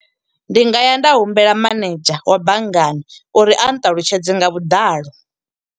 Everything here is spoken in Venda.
Ndi nga ya nda humbela manedzha wa banngani uri a nṱalutshedze nga vhuḓalo.